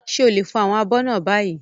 Ṣé o lè fọ àwọn abọ́ náà báyìí?